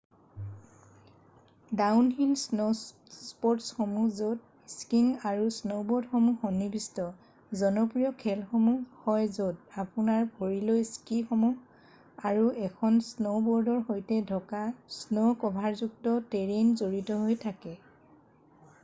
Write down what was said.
downhill স্ন'স্পৰ্টছসমূহ য'ত skiing আৰু স্ন'বৰ্ডসমূহ সন্নিৱিষ্ট জনপ্ৰিয় খেলসমূহ হয় য'ত আপোনাৰ ভৰিলৈ স্কিসমূহ আৰু এখন স্ন'বৰ্ডৰ সৈতে ঢকা স্ন'-ক'ভাৰযুক্ত টেৰেইন জড়িত হৈ থাকে৷